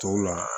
Tɔw la